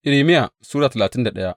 Irmiya Sura talatin da daya